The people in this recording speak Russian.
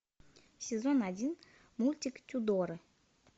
сезон один мультик тюдоры